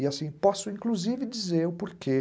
E assim, posso inclusive dizer o porquê.